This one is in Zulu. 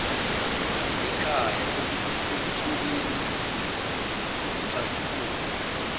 ekhaya ekutholeni izixazululo